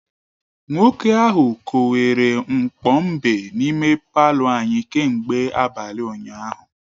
Nwoke ahụ kowere mkpo mbe n’ime palọ anyị kemgbe abalị ụnyahụ